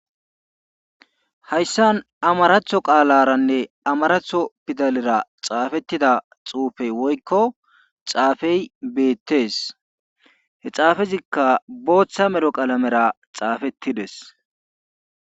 Hayssan amaratho qaalaranne amaratho pidalera xaafettida xufey woykko xaafey beettees he xaafezikka bootha medho qalamera xaafettides.